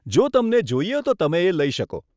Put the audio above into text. જો તમને જોઈએ તો તમે એ લઇ શકો.